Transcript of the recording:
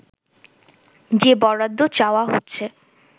যে বরাদ্দ চাওয়া হচ্ছে